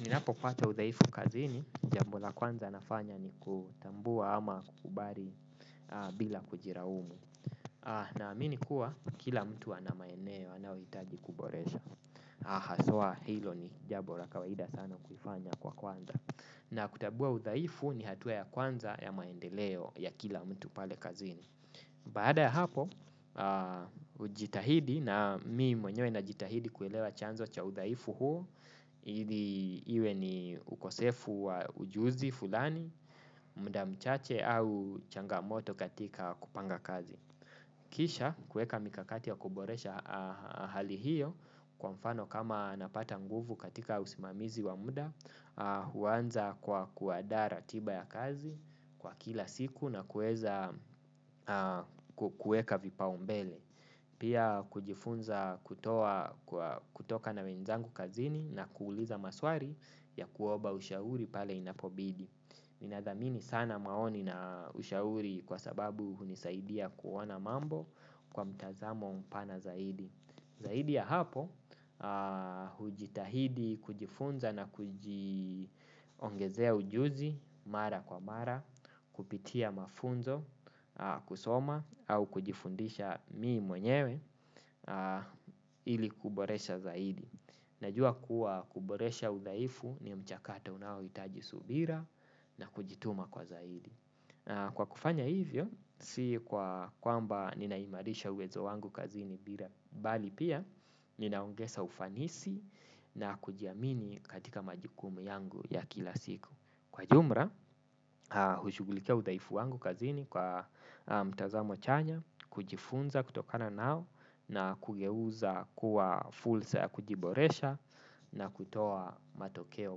Ninapopata udhaifu kazini, jambo la kwanza nafanya ni kutambua ama kukubali bila kujilaumu. Naamini kuwa kila mtu ana maeneo anayohitaji kuboresha. Haswa hilo ni jambo la kawaida sana kuifanya kwa kwanza. Na kutambua udhaifu ni hatua ya kwanza ya maendeleo ya kila mtu pale kazini. Baada ya hapo, hujitahidi na mi mwenyewe najitahidi kuelewa chanzo cha udhaifu huu, ili iwe ni ukosefu wa ujuzi fulani, muda mchache au changamoto katika kupanga kazi. Kisha kuweka mikakati ya kuboresha hali hiyo kwa mfano kama napata nguvu katika usimamizi wa muda. Huanza kwa kuandaa ratiba ya kazi kwa kila siku na kuweza kuweka vipaumbele. Pia kujifunza kutoka na wenzangu kazini na kuuliza maswali ya kuoba ushauri pale inapobidi. Ninadhamini sana maoni na ushauri kwa sababu hunisaidia kuona mambo kwa mtazamo mpana zaidi. Zaidi ya hapo hujitahidi kujifunza na kujiongezea ujuzi mara kwa mara. Kupitia mafunzo kusoma au kujifundisha mii mwenyewe ili kuboresha zaidi. Najua kuwa kuboresha udhaifu ni mchakato unaohitaji subira na kujituma kwa zaidi. Kwa kufanya hivyo, si kwa kwamba ninaimarisha uwezo wangu kazini bira bali pia, ninaongeza ufanisi na kujiamini katika majukumu yangu ya kila siku. Kwa jumla, hushugulikia udhaifu wangu kazini kwa mtazamo chanya. Kujifunza kutokana nao na kugeuza kuwa fursa ya kujiboresha na kutoa matokeo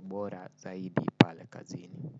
bora zaidi pale kazini.